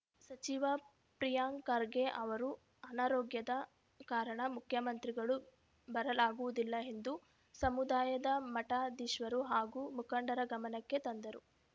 ಸಚಿವ ಪ್ರಿಯಾಂಕ್‌ ಖರ್ಗೆ ಅವರು ಅನಾರೋಗ್ಯದ ಕಾರಣ ಮುಖ್ಯಮಂತ್ರಿಗಳು ಬರಲಾಗುವುದಿಲ್ಲ ಎಂದು ಸಮುದಾಯದ ಮಠಾಧೀಶರು ಹಾಗೂ ಮುಖಂಡರ ಗಮನಕ್ಕೆ ತಂದರು